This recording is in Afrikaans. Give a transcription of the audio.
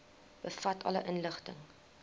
bevat alle inligting